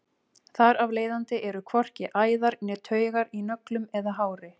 þar af leiðandi eru hvorki æðar né taugar í nöglum eða hári